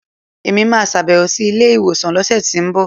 Èmi máa sàbẹ̀wò sí ilé ìwòsàn lọ́sẹ̀tínbọ̀